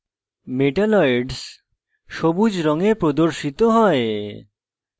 metalloids সবুজ রঙে প্রদর্শিত হয়